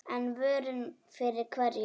En vörn fyrir hverju?